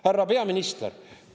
Härra peaminister!